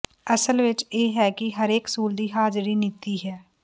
ਅਸਲ ਵਿਚ ਇਹ ਹੈ ਕਿ ਹਰੇਕ ਸਕੂਲ ਦੀ ਹਾਜ਼ਰੀ ਨੀਤੀ ਹੈ